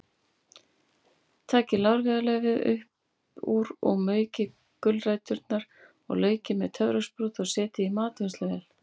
Takið lárviðarlaufið upp úr og maukið gulræturnar og laukinn með töfrasprota eða setjið í matvinnsluvél.